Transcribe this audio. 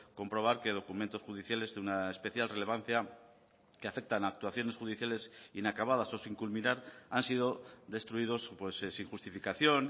comprobar que documentos judiciales de una especial relevancia que afectan a actuaciones judiciales inacabadas o sin culminar han sido destruidos sin justificación